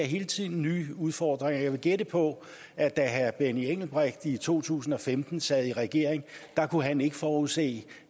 hele tiden nye udfordringer og jeg vil gætte på at da herre benny engelbrecht i to tusind og femten sad i regering kunne han ikke forudse